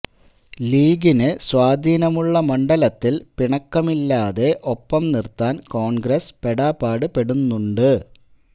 ലീഗിന് സ്വാധീനമുള്ള മണ്ഡലത്തിൽ പിണക്കമില്ലാതെ ഒപ്പം നിർത്താൻ കോൺഗ്രസ് പെടാപാട് പെടുന്നുണ്ട്